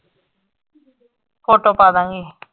Photo ਪਾ ਦਾਂਗੀ।